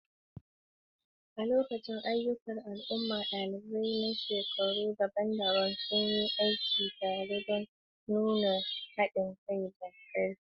A lokacin ayyukan al'umma, ɗalibai na shekaru daban-daban sun yi aiki tare don nuna haɗin kai da ƙarfi.